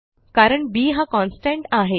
कारण बी हा कॉन्स्टंट आहे